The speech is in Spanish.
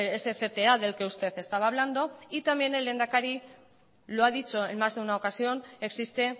ese cta del que usted estaba hablando y también el lehendakari lo ha dicho en más de una ocasión existe